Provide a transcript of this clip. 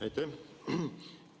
Aitäh!